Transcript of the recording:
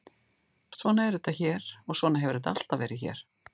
Svona er þetta hér og svona hefur þetta alltaf verið hér.